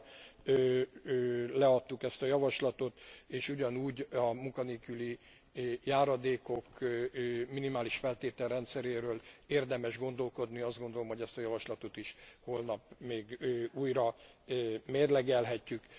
Újra leadtuk ezt a javaslatot és ugyanígy a munkanélküli járadékok minimális feltételrendszeréről érdemes gondolkodni. Azt gondolom, hogy ezt a javaslatot is holnap még újra mérlegelhetjük.